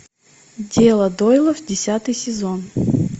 дело дойлов десятый сезон